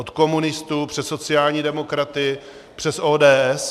Od komunistů přes sociální demokraty, přes ODS.